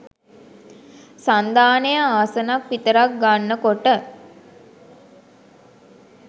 සන්ධානය ආසනක් විතරක් ගන්න කොට